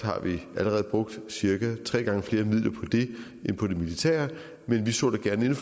allerede brugt cirka tre gange flere midler på det end på det militære men vi så da gerne